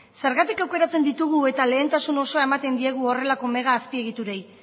zergatik aukeratzen ditugu eta lehentasun osoa ematen diegu horrelako megaazpiegiturei